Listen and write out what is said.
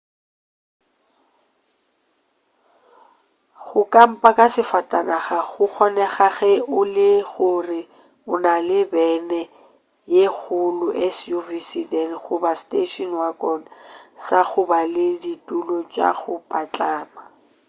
go kampa ka safatanaga go kgonega ge e le gore o na le bene ye kgolo suv sedan goba station wagon sa go ba le ditulo tša go patlama